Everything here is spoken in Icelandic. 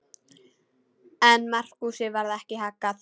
En Markúsi varð ekki haggað.